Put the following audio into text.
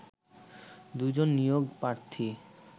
দুজন নিয়োগ প্রার্থী